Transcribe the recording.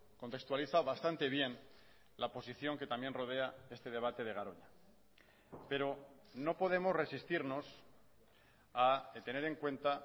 contextualiza bastante bien la posición que también rodea este debate de garoña pero no podemos resistirnos a tener en cuenta